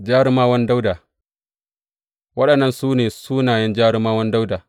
Jarumawan Dawuda Waɗannan su ne sunayen jarumawan Dawuda.